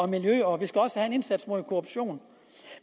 miljø og vi skal også have en indsats mod korruption